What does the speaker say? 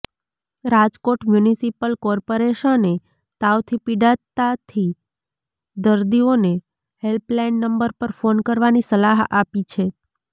Rajkot municipal કોર્પોરેશને તાવથી પીડાતાથી દર્દીઓને હેલ્પલાઈન નંબર પર ફોન કરવાની સલાહ આપી છે